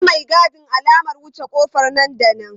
Ba maigadin alamar wuce ƙofar nan da nan!